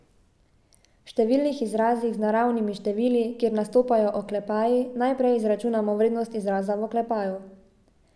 V številskih izrazih z naravnimi števili, kjer nastopajo oklepaji, najprej izračunamo vrednost izraza v oklepaju.